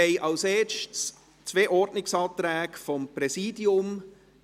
Als Erstes haben wir zwei Ordnungsanträge seitens des Präsidiums.